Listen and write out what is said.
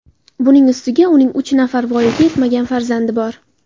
Buning ustiga uning uch nafar voyaga yetmagan farzandi bor.